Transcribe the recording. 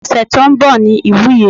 Ose tó ń bọ̀ ni ìwúye.